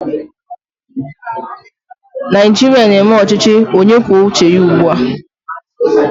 Naijiria na-eme ochichi onye kwuo uche ya ugbu a